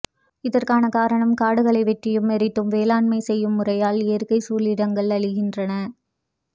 இதற்கான காரணம் காடுகளை வெட்டியும் எரித்தும் வேளாண்மை செய்யும் முறையால் இயற்கைச் சூழிடங்கள் அழிகின்றன